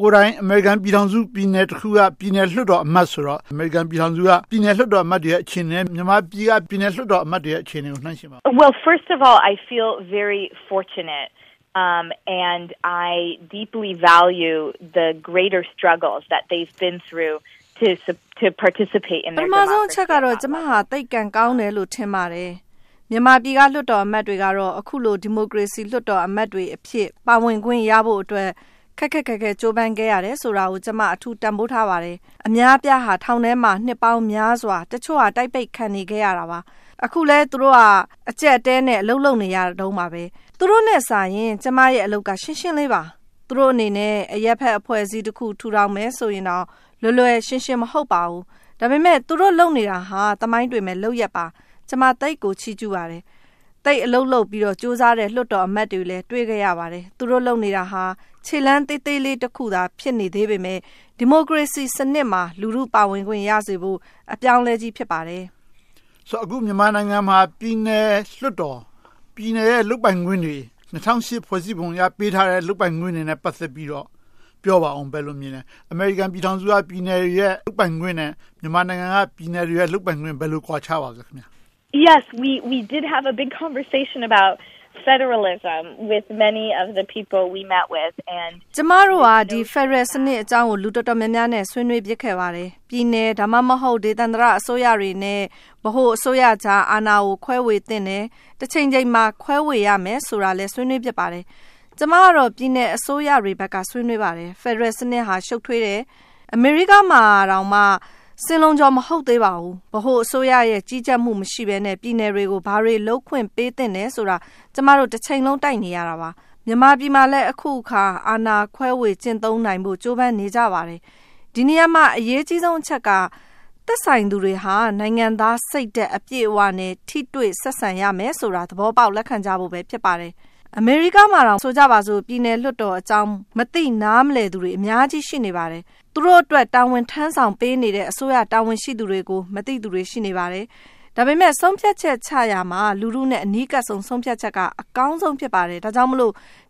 ကိုယ်တိုင် အမေရိကန်ပြည်ထောင်စု ပြည်နယ်တခုက လွှတ်တော်အမတ်ဆိုတော့ အမေရိကန်ပြည်ထောင်စုက လွှတ်တော်အမတ်တွေနဲ့ မြန်မာပြည်က ပြည်နယ်လွှတ်တော်အမတ်တွေရဲ့ အခြေအနေကို နှိုင်းယှဉ်ပါ။ ပထမဦးဆုံးအချက်က ကျမ သိပ်ကံကောင်းတယ်လို့ ထင်ပါတယ်။ မြန်မာပြည်က လွှတ်တော်အမတ်တွေကတော့ အခုလို ဒီမိုကရေစီ လွှတ်တော်အမတ်တွေအဖြစ် ပါဝင်ခွင့်ရဖို့အတွက် ခက်ခက်ခဲခဲ ကြိုးပမ်းခဲ့ရတယ်ဆိုတာကို ကျမ အထူးတန်းဖိုးထားပါတယ်။ အများအပြားဟာ ထောင်ထဲမှာ နှစ်ပေါင်းများစွာ၊ တချို့က တိုက်ပိတ်ခံနေခဲ့ရတာပါ။ အခုလဲ သူတို့က အကျပ်အတည်းနဲ့ အလုပ်လုပ်နေရတုန်းပါ။ သူတို့နဲ့စာရင် ကျမအလုပ်က ရှင်းရှင်းလေးပါ။ သူတို့အနေနဲ့ အရပ်ဖက်အဖွဲ့တခု ထူထောင်မယ်ဆိုရင်တောင် လွယ်လွယ်ရှင်းရှင်း မဟုတ်ပါဘူး။ ဒါပေမဲ့ သူတို့လုပ်နေတာဟာ သမိုင်းတွင်မယ့်လုပ်ရပ်ပါ။ ကျမ သိပ်ကိုချီးကျူးပါတယ်။ သိပ်အလုပ်လုပ်ပြီးတော့ ကြိုးစားတဲ့ လွှတ်တော်အမတ်တွေလည်း တွေ့ခဲ့ရပါတယ်။ သူတို့လုပ်နေတာဟာ ခြေလှမ်းသေးသေးတခုသာ ဖြစ်နေသေးပေမယ့် ဒီမိုကရေစီစနစ်မှာ လူထုပါဝင်ခွင့်ရစေဖို့ အပြောင်းအလဲကြီး ဖြစ်ပါတယ်။ ဆိုတော့ အခုမြန်မာနိုင်ငံမှာ ပြည်နယ်လွှတ်တော်။ ပြည်နယ်ရဲ့ လုပ်ပိုင်ခွင့်တွေ ၂၀၀၈ ဖွဲ့စည်းပုံအရ ပေးထားတဲ့ လုပ်ပိုင်ခွင့်တွေနဲ့ ပတ်သက်ပြီးတော့ ပြောပါအုံး။ ဘယ်လိုမြင်လဲ။ အမေရိကန်ပြည်ထောင်စုရဲ့ ပြည်နယ်တွေရဲ့ လုပ်ပိုင်ခွင့်နဲ့ မြန်မာနိုင်ငံက ပြည်နယ်တွေရဲ့ လုပ်ပိုင်ခွင့် ဘယ်လို ကွာခြားပါလဲ။ ကျမတို့ဟာ ဖယ်ဒရယ်စနစ်အကြောင်းကို လူတော်တော်များများနဲ့ ဆွေးနွေးဖြစ်ခဲ့ပါတယ်။ ပြည်နယ် ဒါမှမဟုတ် ဒေသန္တရအစိုးရတွေနဲ့ ဗဟိုအစိုးရကြား အာဏာကို ခွဲဝေသင့်တယ်။ တချိန်ချိန်မှာ ခွဲဝေရမယ်ဆိုတာလည်း ဆွေးနွေးဖြစ်ပါတယ်။ ကျမကတော့ ပြည်နယ်အစိုးရတွေဘက်က ဆွေးနွေးပါတယ်။ ဖယ်ဒရယ်စနစ်က ရှုပ်ထွေးတယ်။ အမေရိကမှာတောင် စင်လုံးချော မဟုတ်သေးပါဘူး။ ဗဟိုအစိုးရ ကြီးကြပ်မှုမရှိဘဲနဲ့ ပြည်နယ်တွေကို ဘာတွေလုပ်ခွင့် ပေးသင့်တယ်ဆိုတာ ကျမတို့ တချိန်လုံး တိုက်နေရတာပါ။ မြန်မာနိုင်ငံမှာလည်း အခုအခါ အာဏာခွဲဝေကျင့်သုံးနိုင်ဖို့ ကြိုးပမ်းနေကြပါတယ်။ ဒီနေရာမှာ အရေးကြီးဆုံးအချက်က သက်ဆိုင်သူတွေဟာ နိုင်ငံသားစိတ်ဓါတ်နဲ့ ထိတွေ့ဆက်ဆံရမယ်ဆိုတာကို သဘောပေါက်လက်ခံကြဖို့ ဖြစ်ပါတယ်။ အမေရိကားမှာတောင် ဆိုကြပါစို့ ပြည်နယ်လွှတ်တော်အကြောင်း မသိနားမလည်သူတွေ အများကြီး ရှိနေပါတယ်။ သူတို့အတွက် တာဝန်ထမ်းဆောင်ပေးနေတဲ့ အစိုးရတာဝန်ရှိသူတွေကို မသိသူတွေ ရှိနေပါတယ်။ ဒါပေမဲ့ ဆုံးဖြတ်ချက်ချရာမှာ လူထုနဲ့ အနီးကပ်ဆုံး ဆုံးဖြတ်ချက်က အကောင်းဆုံး ဖြစ်ပါတယ်။ ဒါကြောင့်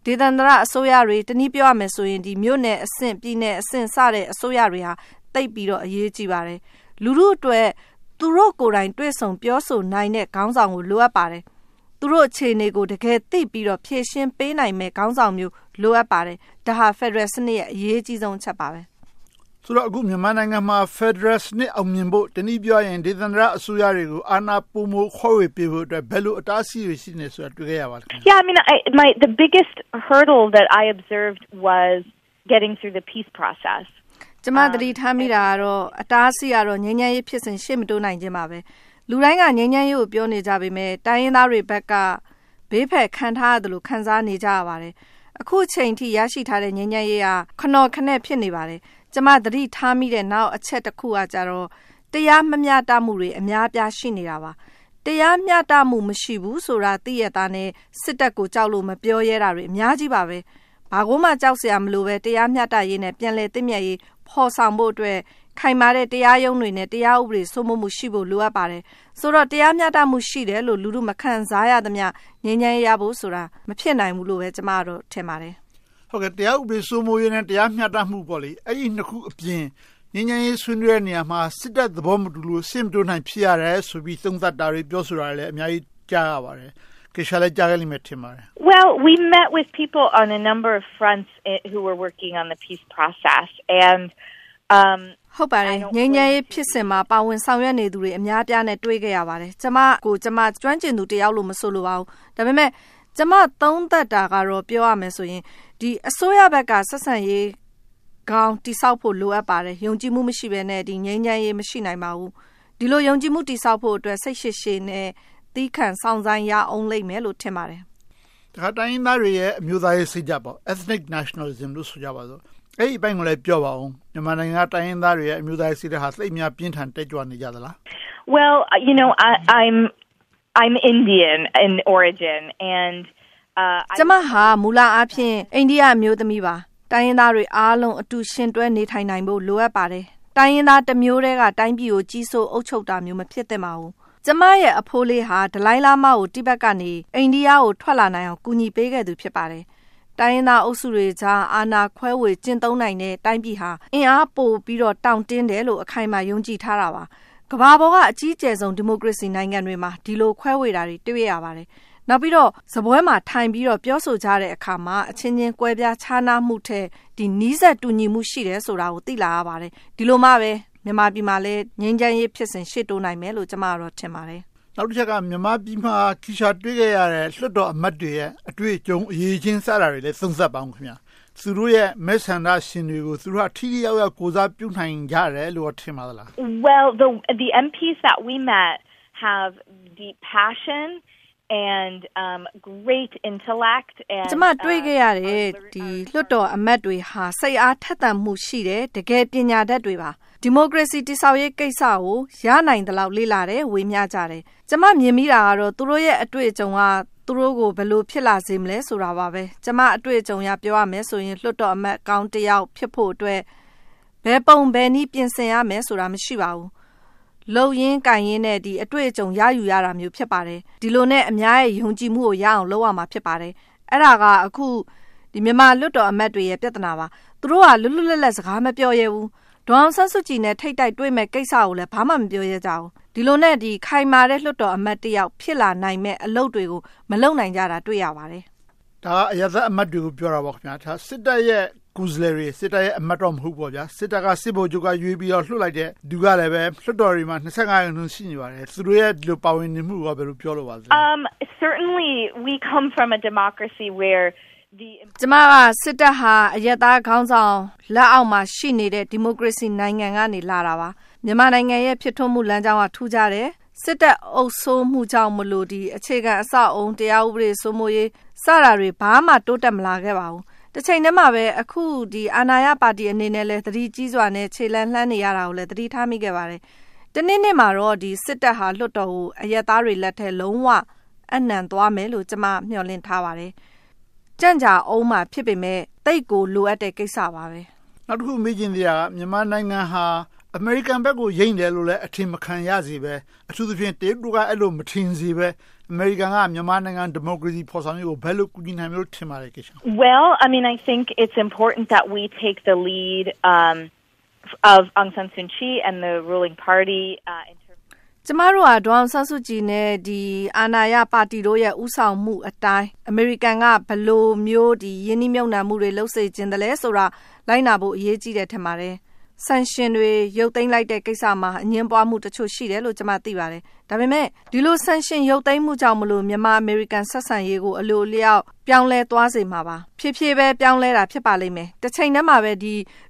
ဒေသန္တရအစိုးရတွေ တနည်းပြောရမယ်ဆိုရင် မြို့နယ်အဆင့်၊ ပြည်နယ်အဆင့် အစိုးရတွေဟာ သိပ်ပြီးတော့ အရေးကြီးပါတယ်။ လူထုအတွက် သူတို့ကိုယ်တိုင် တွေ့ဆုံပြောဆိုနိုင်တဲ့ ခေါင်းဆောင်ကို လိုအပ်ပါတယ်။ သူတို့အခြေအနေကို တကယ်သိပြီးတော့ ဖြေရှင်းပေးနိုင်မယ့်ခေါင်းဆောင်မျိုး လိုအပ်ပါတယ်။ ဒါဟာ ဖယ်ဒရယ်စနစ်ရဲ့ အရေးကြီးဆုံးအချက်ပါ။ ဆိုတော့ အခု မြန်မာနိုင်ငံမှာ ဖယ်ဒရယ်စနစ် အောင်မြင်ဖို့ တနည်းပြောရရင် ဒေသန္တရအစိုးရတွေကို အာဏာပိုမိုခွဲဝေပေးဖို့အတွက် ဘယ်လို အတားအဆီးတွေ ရှိနေတယ်ဆိုတာ တွေ့ခဲ့ရပါလဲ။ ကျမ သတိထားမိတာကတော့ အတားအဆီးကတော့ ငြိမ်းချမ်းရေးဖြစ်စဉ် ရှေ့မတိုးနိုင်ခြင်းပါပဲ။ လူတိုင်းက ငြိမ်းချမ်းရေးကို ပြောနေကြပေမယ့် တိုင်းရင်းသားတွေဘက်က ဘေးဖယ်ခံထားရသလို ခံစားနေကြပါတယ်။ အခုအချိန်အထိ ရရှိထားတဲ့ ငြိမ်းချမ်းရေးက ခနော်ခနဲ့ ဖြစ်နေပါတယ်။ ကျမ သတိထားမိတဲ့ နောက်အချက်ကတော့ တရားမမျှတမှုတွေ အများအပြား ရှိနေတာပါ။ တရားမျှတမှု မရှိဘူးဆိုတာ သိရက်သားနဲ့ စစ်တပ်ကို ကြောက်လို့မပြောရဲတာတွေ အများကြီးပါ။ ဘာကိုမှ ကြောက်စရာမလိုဘဲ၊ တရားမျှတရေး နဲ့ ပြန်လည်သင့်မြတ်ရေး ဖော်ဆောင်ဖို့အတွက် ခိုင်မာတဲ့ တရားရုံးတွေနဲ့ တရားဥပဒေ စိုးမိုးမှုရှိဖို့ လိုအပ်ပါတယ်။ ဆိုတော့ တရားမျှတမှု ရှိတယ်လို့ လူထုမခံစားရသမျှ ငြိမ်းချမ်းရေးရဖို့ဆိုတာ မဖြစ်နိုင်ဘူးလို့ပဲ ကျမက ထင်ပါတယ်။ တရားဥပဒေ စိုးမိုးရေး နဲ့ တရားမျှတမှု အဲဒီနှစ်ခုအပြင် ငြိမ်းချမ်းရေး ဆွေးနွေးတဲ့နေရာမှာ စစ်တပ်သဘောမတူလို့ ရှေ့မတိုးနိုင်ဖြစ်တယ်ဆိုပြီး သုံးသပ်တာတွေ၊ ပြောဆိုတာတွေ အများကြီး ကြားရပါတယ်။ Kesha လည်း ကြားမယ်လို့ ထင်ပါတယ်။ ငြိမ်းချမ်းရေးဖြစ်စဉ်မှာ ပါဝင်နေသူ အများအပြားနဲ့ တွေ့ခဲ့ရပါတယ်။ ကျမကိုယ်ကျမ ကျွမ်းကျင်သူတယောက်လို့ မဆိုလိုပါဘူး။ ဒါပေမဲ့ ကျမ သုံးသပ်တာကို ပြောရမယ်ဆိုရင် အစိုးရဘက်က ဆက်ဆံရေးကောင်း တည်ဆောက်ဖို့ လိုအပ်ပါတယ်။ ယုံကြည်ချက် မရှိဘဲနဲ့ ဒီငြိမ်းချမ်းရေး မရှိနိုင်ပါဘူး။ ဒီလို ယုံကြည်မှု တည်ဆောက်ဖို့အတွက် စိတ်ရှည်ရှည်နဲ့ သည်းခံစောင့်ဆိုင်းရအုံးလိမ့်မယ်လို့ ထင်ပါတယ်။ တခါ တိုင်းရင်းသားတွေရဲ့ အမျိုးသားရေးစိတ်ဓါတ် Ethnic Nationalism ဆိုကြပါစို့။ အဲဒီအပိုင်းကိုလည်း ပြောပါအုံး။ မြန်မာနိုင်ငံက တိုင်းရင်းသားတွေရဲ့ အမျိုးသားရေးစိတ်ဓါတ်ဟာ သိပ်များပြင်းထန်တက်ကြွနေကြသလား။ ကျမဟာ မူလအားဖြင့် အိန္ဒိယအမျိုးသမီးပါ။ တိုင်းရင်းသားတွေအားလုံး အတူယှဉ်တွဲ နေထိုင်နိုင်ဖို့ လိုအပ်ပါတယ်။ တိုင်းရင်းသားတမျိုးတည်းက တိုင်းပြည်ကို ကြီးစိုးအုပ်ချုပ်တာမျိုး မဖြစ်သင့်ပါဘူး။ ကျမရဲ့ အဖိုးလေးဟာ ဒလိုင်းလာမားကို တီဘတ်ကနေ အိန္ဒိယကို ထွက်လာနိုင်အောင် ကူညီပေးခဲ့သူ ဖြစ်ပါတယ်။ တိုင်းရင်းသားအုပ်စုတွေကြား အာဏာခွဲဝေ ကျင့်သုံးနိုင်တဲ့ တိုင်းပြည်ဟာ အင်အားပိုပြီးတော့ တောင့်တင်းတယ်လို့ အခိုင်အမာယုံကြည်ထားတာပါ။ ကမ္ဘာပေါ်က အကြီးအကျယ်ဆုံး ဒီမိုကရေစီနိုင်ငံတွေမှာ ဒီလို ခွဲဝေတာတွေကို တွေ့ရပါတယ်။ နောက်ပြီးတော့ စားပွဲမှာ ထိုင်ပြီးတော့ ပြောဆိုကြတဲ့အခါမှာ အချင်းချင်းကွဲပြားခြားနားမှုထက် နီးစပ်တူညီမှုရှိတယ်ဆိုတာကို သိလာရပါတယ်။ ဒီလိုမှပဲ မြန်မာပြည်မှာ ငြိမ်းချမ်းရေးဖြစ်စဉ် ရှေ့တိုးနိုင်မယ်လို့ ကျမက ထင်ပါတယ်။ နောက်တချက်က မြန်မာပြည်မှာ Kesha တွေ့ခဲ့ရတဲ့ လွှတ်တော်အမတ်တွေရဲ့ အတွေ့အကြုံ အရည်အချင်းစတာတွေကို သုံးသပ်ပါအုံးး။ သူတို့ရဲ့ မဲဆန္ဒရှင်တွေကို သူတို့က ထိထိရောက်ရောက် ကိုယ်စားပြုနိုင်ကြတယ်လို့ ထင်ပါလား။ ကျမ တွေ့ခဲ့ရတဲ့ လွှတ်တော်အမတ်တွေဟာ စိတ်အားထက်သန်မှု ရှိတယ်။ တကယ်ပညာတတ်တွေပါ။ ဒီမိုကရေစီ တည်ဆောက်ရေးကိစ္စကို ရနိုင်သလောက် လေ့လာတယ်။ ဝေမျှကြတယ်။ ကျမ မြင်မိတာကတော့ သူတို့ရဲ့ အတွေ့အကြုံက သူတို့ကို ဘယ်လိုဖြစ်လာစေမလဲဆိုတာပါ။ ကျမ အတွေ့အကြုံအရ ပြောရမယ်ဆိုရင် လွှတ်တော်အမတ်ကောင်း တယောက်ဖြစ်ဖို့အတွက် ဘယ်ပုံဘယ်နည်း ပြင်ဆင်ရမယ်ဆိုတာ မရှိပါဘူး။ လုပ်ရင်ကိုင်ရင်နဲ့ အတွေ့အကြုံ ရယူရတာမျိုး ဖြစ်ပါတယ်။ ဒီလိုနဲ့ အများရဲ့ ယုံကြည်မှုကို ရအောင်လုပ်ရမှာ ဖြစ်ပါတယ်။ အဲဒါက အခု မြန်မာလွှတ်တော်အမတ်တွေရဲ့ ပြဿနာပါ။ သူတို့ဟာ လွတ်လွတ်လပ်လပ် စကားမပြောရဲကြဘူး။ ဒေါ်အောင်ဆန်းစုကြည်နဲ့ ထိပ်တိုက်တွေ့မယ့်ကိစ္စတွေကိုလည်း ဘာမှ မပြောရဲကြဘူး။ ဒီလိုနဲ့ ခိုင်မာတဲ့ လွှတ်တော်အမတ်တယောက် ဖြစ်လာနိုင်မယ့် အလုပ်တွေကို မလုပ်နိုင်ကြတာကို တွေ့ရပါတယ်။ ဒါက အရပ်သားအမတ်တွေကို ပြောတာပေါ့။ စစ်တပ်ရဲ့ ကိုယ်စားလှယ်တွေ၊ အမတ်တော့ မဟုတ်ဘူး။ စစ်တပ်က စစ်ဗိုလ်ချုပ်က ရွေးပြီးတော့ လွှတ်လိုက်တဲ့လူတွေကလည်း သိပါတယ်။ သူတို့ရဲ့ ဒီလို ပါဝင်နေမှုကို ဘယ်လို ပြောလိုပါလဲ။ ကျမက စစ်တပ်ဟာ အရပ်သားခေါင်းဆောင် လက်အောက်မှာရှိနေတဲ့ ဒီမိုကရေစီနိုင်ငံက လာတာပါ။ မြန်မာနိုင်ငံရဲ့ ဖြစ်ထွန်းမှုလမ်းကြောင်းက ထူးခြားတယ်။ စစ်တပ်အုပ်စိုးမှုကြောင့်မို့လို့ အခြေခံအဆောက်အအုံ၊ တရားဥပဒေ စိုးမိုးရေးစတာတွေ ဘာမှ တိုးတက်မလာခဲ့ပါဘူး။ တချိန်တည်းမှာပဲ အခု အာဏာရပါတီအနေနဲ့လည်း သတိကြီးစွာနဲ့ ခြေလှမ်းလှမ်းနေရတာကိုလည်း သတိထားမိပါတယ်။ တနေ့နေ့မှာတော့ စစ်တပ်ဟာ လွှတ်တော်ကို အရပ်သားတွေလက်ထဲ လုံးဝအပ်နံှသွားမယ်လို့ ကျမ မျှော်လင့်ထားပါတယ်။ ကြန့်ကြာအုံးမှာ ဖြစ်ပေမယ့် သိပ်ကိုလိုအပ်တဲ့ကိစ္စပါ။ နောက်တခု မေးချင်သေးတာက မြန်မာနိုင်ငံဟာ အမေရိကန်ဘက်ကို ယိမ်းတယ်လို့ အထင်မခံရလေစေဘဲ။ အထူးသဖြင့် တရုတ်တို့က အဲဒီလို မထင်စေဘဲ အမေရိကန်က မြန်မာနိုင်ငံ ဒီမိုကရေစီ ဖော်ဆောင်ရေးကို ဘယ်လို ကူညီနိုင်မယ်လို့ ထင်ပါလဲ။ ကျမတို့က ဒေါ်အောင်ဆန်းးစုကြည်နဲ့ အာဏာရပါတီတို့ရဲ့ ဦးဆောင်မှုအတိုင်း အမေရိကန်တို့က ဘယ်လိုမျိုး ရင်းနှီးမြုပ်နံှမှုတွေ လုပ်စေချင်သလဲဆိုတာ လိုက်နာဖို့ အရေးကြီးတယ် ထင်ပါတယ်။ Sanctions တွေ ရုတ်သိမ်းလိုက်တဲ့ကိစ္စမှာ အငြင်းပွားမှုတခု ရှိတယ်လို့ ကျမ သိပါတယ်။ ဒါပေမဲ့ ဒီလို Sanctions ရုတ်သိမ်းလိုက်တာကြောင့် မြန်မာ-အမေရိကန် ဆက်ဆံရေးကို အလိုအလျောက် ပြောင်းလဲသွားစေမှာပါ။ ဖြည်းဖြည်းပဲ ပြောင်းလဲမှာ ဖြစ်ပါလိမ့်မယ်။ တချိန်တည်းမှာပဲ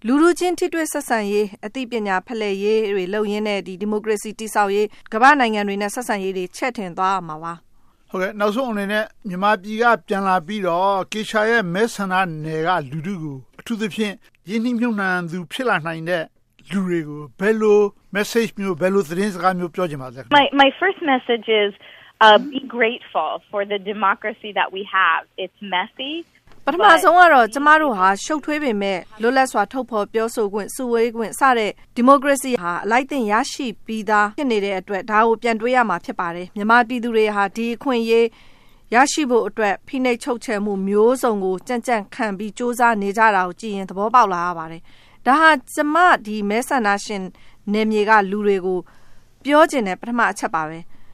လူထုချင်း ထိတွေ့ဆက်ဆံရေး အသိပညာဖလှယ်ရေးတွေ လုပ်ရင်းနဲ့ ဒီမိုကရေစီ တည်ဆောက်ရေး၊ ကမ္ဘာ့နိုင်ငံတွေနဲ့ ဆက်ဆံရေးတွေ ချဲ့ထွင်သွားရမှာပါ။ နောက်ဆုံးအနေနဲ့ မေးချင်တာက မြန်မာပြည်က ပြန်လာပြီးတော့ Kesha ရဲ့ မဲဆန္ဒနယ်မြေက လူထုကို အထူးသဖြင့် ရင်းနှီးမြုပ်နံှသူ ဖြစ်လာနိုင်တဲ့ လူတွေကို ဘယ်လို Message မျိုး သတင်းစကားမျိုး ပြောချင်ပါလဲ။ ပထမဆုံးကတော့ ကျမတို့ဟာ ရှုပ်ထွေးပေမယ့် လွတ်လပ်စွာ ထုတ်ဖော်ပြောဆိုခွင့်၊ စုဝေးခွင့် စသည်ဖြင့် ဒီမိုကရေစီဟာ အလိုက်သင့် ရရှိပြီးသား ဖြစ်နေတဲ့အတွက် ဒါကို ပြန်တွေးရမှာ ဖြစ်ပါတယ်။ မြန်မာပြည်သူတွေဟာ ဒီအခွင့်အရေး ရရှိဖို့အတွက် ဖိနှိပ်ချုပ်ချယ်မှုမျိုးစုံကို ကြန့်ကြန့်ခံပြီး ကြိုးစားနေကြတာကိုကြည့်ရင် သဘောပေါက်လာရပါတယ်။ ဒါဟာ ကျမ မဲဆန္ဒရှင်နယ်မြေက လူတွေကို ပြောချင်တဲ့ ပထမအချက်ပါ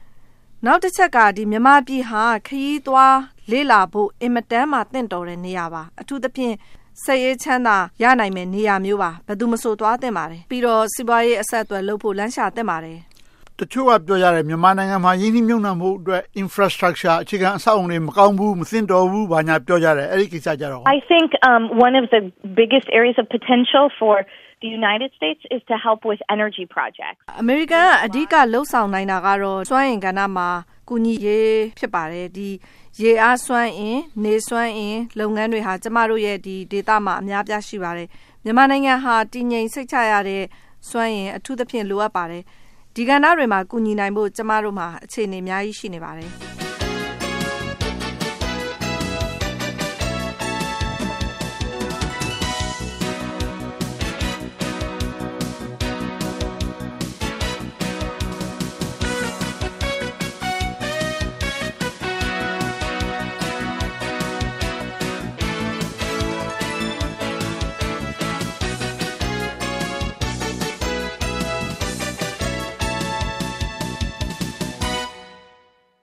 ။ နောက်တချက်က မြန်မာပြည်ဟာ ခရီးသွား၊ လေ့လာဖို့ အင်မတန်မှ သင့်တော်တဲ့နေရာပါ။ အထူးသဖြင့် စိတ်အေးချမ်းသာ ရနိုင်မယ့် နေရာမျိုးပါ။ ဘယ်သူမဆို သွားသင့်ပါတယ်။ ပြီးတော့ စီးပွားရေးအဆက်အသွယ်လုပ်ဖို့ လမ်းရှာသင့်ပါတယ်။ တချို့က ပြောကြတယ် မြန်မာနိုင်ငံမှာ ရင်းနှီးမြုပ်နံှဖို့အတွက် Infrastructure အခြေခံအဆောက်အအုံတွေ မကောင်းဘူး၊ မသင့်တော်ဘူးလို့ ပြောကြတယ်။ အဲဒီကိစ္စကို ဘယ်လိုပြောချင်လဲ။ အမေရိကန်က အဓိက လုပ်ဆောင်နိုင်တာကတော့ စွမ်းအင်ကဏ္ဍမှာ ကူညီရေး ဖြစ်ပါတယ်။ ရေအားစွမ်းအင်၊ နေစွမ်းအင် လုပ်ငန်းတွေဟာ ကျမတို့ရဲ့ ဒေသမှာ အများအပြား ရှိပါတယ်။ မြန်မာနိုင်ငံဟာ တည်ငြိမ်စိတ်ချရတဲ့ စွမ်းအင်အထူးသဖြင့် လိုအပ်ပါတယ်။ ဒီကဏ္ဍတွေမှာ ကူညီနိုင်ဖို့ ကျမတို့မှာ အခြေအနေ အများကြီး ရှိနေပါတယ်။